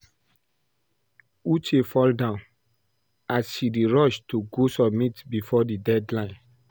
Uche fall down as she dey rush to go submit before the deadline